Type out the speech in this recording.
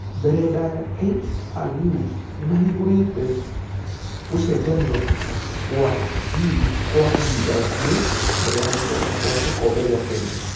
Mbere ndaya kru nĩmahingũrĩte gũcenjania gwathirĩkwakahinda gakuhĩ mbere ya gũcokakwagĩkobe gĩa kenya.